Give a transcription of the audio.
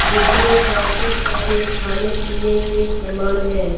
जिसमें काफी सारे खाने-पीने के सामान हैं।